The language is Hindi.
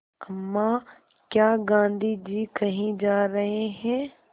अम्मा क्या गाँधी जी कहीं जा रहे हैं